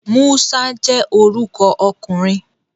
Musa je oruko okunrin